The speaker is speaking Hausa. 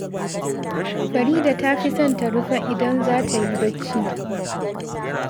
Farida ta fi son ta rufa idan za ta yi barci